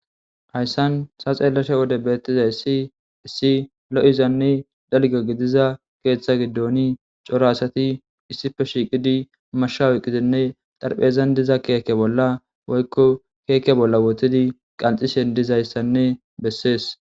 hayssan ta xeellasha wode beettizay siissi lo7izanne dalga gidiza keeththa giddoni coro asati issife shiiqidi mashshawuqqizenne xarphezan diza keeke bolla woykko keeke bolla wotidi qanxishen dizayssanne bessees